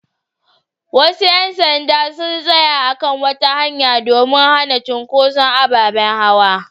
Wasu ƴan sanda sun tsaya a kan wata hanya domin hana cunkuson ababen hawa.